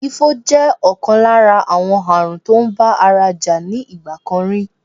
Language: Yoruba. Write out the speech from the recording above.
Ifo jẹ́ ọ̀kan lára àwọn àrùn tó ń bá ara jà ní ìgbà kan rí